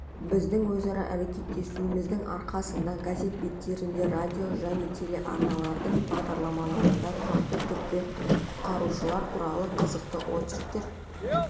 біздің өзара әрекетесуіміздің арқасында газет беттерінде радио және телеарналардың бағдарламаларда тұрақты түрде құтқарушылар туралы қызықты очерктер